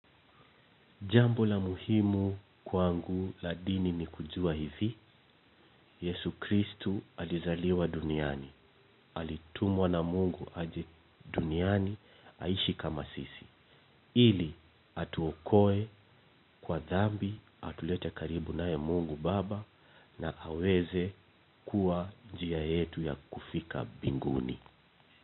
Jambo la muhimu kwangu la dini ni kujua hivi, Yesu Kristu alizaliwa duniani, alitumwa na Mungu aje duniani, aishi kama sisi, ili atuokoe kwa dhambi, atulete karibu naye Mungu baba na aweze kuwa, njia yetu ya kufika mbinguni.